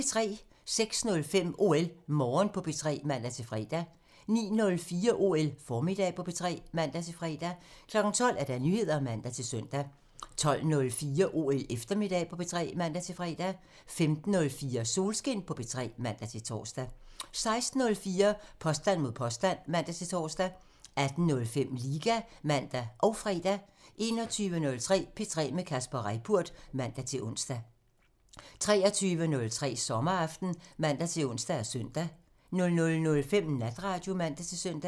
06:05: OL Morgen på P3 (man-fre) 09:04: OL Formiddag på P3 (man-fre) 12:00: Nyheder (man-søn) 12:04: OL Eftermiddag på P3 (man-fre) 15:04: Solskin på P3 (man-tor) 16:04: Påstand mod påstand (man-tor) 18:05: Liga (man og fre) 21:03: P3 med Kasper Reippurt (man-ons) 23:03: Sommeraften (man-ons og søn) 00:05: Natradio (man-søn)